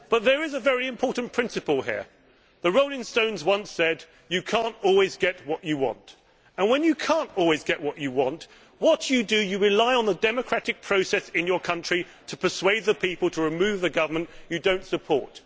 But there is a very important principle here. The Rolling Stones once said You can't always get what you want', and when you can't get what you what, what you do is rely on the democratic process in your country to persuade the people to remove the government you do not support.